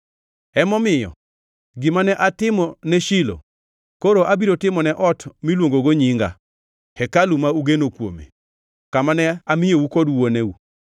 Emomiyo, gima ne atimone Shilo koro abiro timo ne ot miluongogo Nyinga, hekalu ma ugeno kuomeno, kama ne amiyou kod wuoneu.